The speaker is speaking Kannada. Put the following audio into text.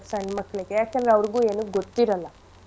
ಸಣ್ ಮಕ್ಳಿಗೆ ಯಾಕೆಂದ್ರೆ ಅವ್ರುಗೂ ಏನೂ ಗೊತ್ತಿರಲ್ಲ.